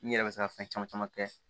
N yɛrɛ bɛ se ka fɛn caman caman kɛ